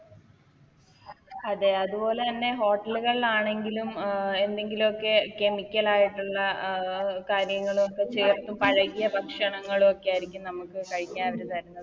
അതെ അതുപോലെ തന്നെ Hotel കളിലാണെങ്കിലും അഹ് എന്തെങ്കിലൊക്കെ Chemical ആയിട്ടുള്ള അഹ് കാര്യങ്ങളൊക്കെ ചേർത്ത് പഴകിയ ഭക്ഷണങ്ങളൊക്കെ ആരിക്കും നമുക്ക് കഴിക്കാൻ അവര് തരുന്നത്